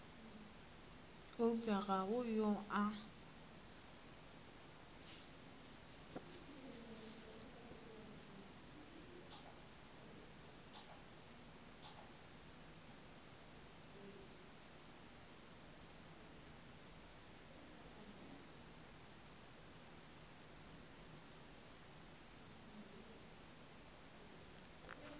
eupša ga go yo a